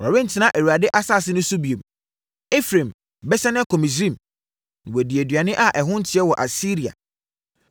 Wɔrentena Awurade asase no so bio; Efraim bɛsane akɔ Misraim na wadi aduane a ɛho nteɛ wɔ Asiria.